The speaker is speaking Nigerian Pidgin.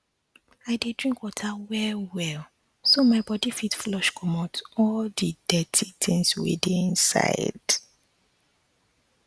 i dey drink water well well so my body fit flush commot all the the dirty tins wey dey inside